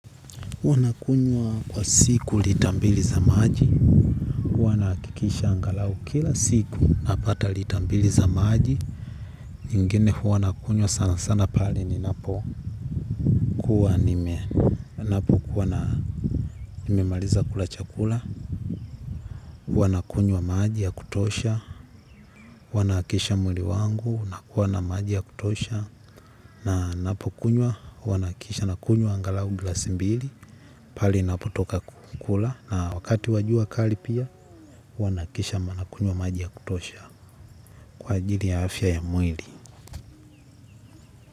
Wanakunywa kwa siku lita mbili za maji. Wanahakikisha angalau kila siku. Napata litambili za maji ingine huwa nakunywa sana sana pale ninapo kuwa nime ninapokuwa na nimemaliza kula chakula. Wanakunywa maji ya kutosha huwa nahakisha mwili wangu nakuwa na maji ya kutosha. Na napo kunywa huwa nahakikisha nakunywa angalau glasi mbili. Pahali napotoka kukula na wakati wa jua kali pia huwa nahakikisha nakunywa maji ya kutosha kwa ajili ya afya ya mwili.